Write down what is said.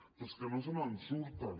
però és que no se’n surten